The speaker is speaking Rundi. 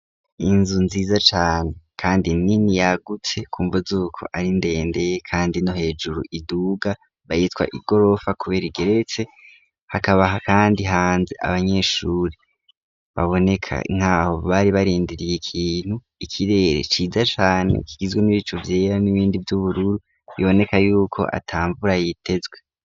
Inzu nziza cane kandi nini yagutse kumva z'uko ari ndende kandi no hejuru iduga bayita igorofa kubera igeretse. Hakaba kandi hanze abanyeshuri baboneka ntaho bari barindiriye ikintu ikirere ciza cane kizwe n'ibicu vyera n'ibindi vy'ubururu biboneka yuko atamvura yitezwe.